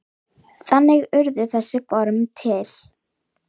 Péturs verður sárt saknað.